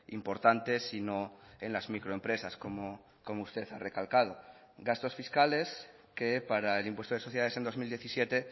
importantes sino en las microempresas como usted ha recalcado gastos fiscales que para el impuesto de sociedades en dos mil diecisiete